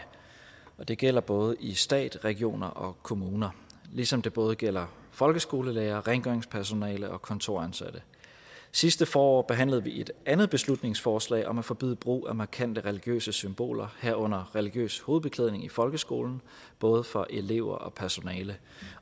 og det gælder både i stat regioner og kommuner ligesom det både gælder folkeskolelærere rengøringspersonale og kontoransatte sidste forår behandlede vi et andet beslutningsforslag om at forbyde brug af markante religiøse symboler herunder religiøs hovedbeklædning i folkeskolen både for elever og personale